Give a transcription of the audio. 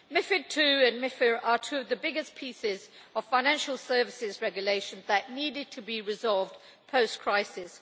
MiFID II and MiFIR are two of the biggest pieces of financial services regulation that needed to be resolved post crisis.